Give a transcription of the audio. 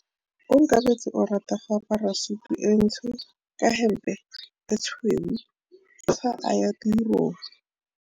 Onkabetse o rata go apara sutu e ntsho ka hempe e tshweu fa a ya tirong.